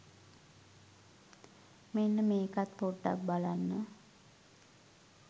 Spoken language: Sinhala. මෙන්න මේකත් පොඩ්ඩක් බලන්න